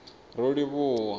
rolivhuwa